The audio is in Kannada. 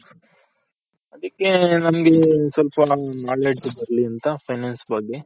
ಅದಕ್ಕೆ ನಮ್ಗೆ ಒಂದ್ ಸ್ವಲ್ಪ ನಮ್ಗೆ Knowledge ಬರ್ಲಿ ಅಂತ finance ಬಗ್ಗೆ